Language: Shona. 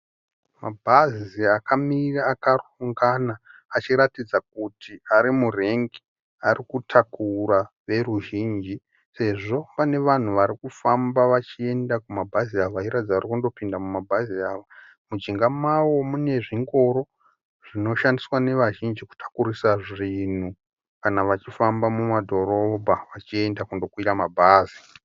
Mabhazi akamira akarongana achiratidza kuti ari murengi ari kutakura veruzhinji sezvo pane vanhu vari kufamba vachienda kumabhazi awa vachiratidza kuti vari kundopinda kumabhazi awa mujinga mawo mune zvingoro zvinoshandiswa nevazhinji kutakurisa zvinhu kana vachifamba mumadhorobha vachienda kundokwira mabhazi.